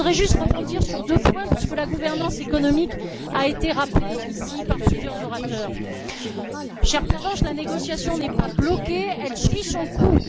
Je voudrais juste rebondir sur deux points, puisque la gouvernance économique a été rappelée ici par plusieurs orateurs. Chère Pervenche, la négociation n'est pas bloquée, elle suit son cours.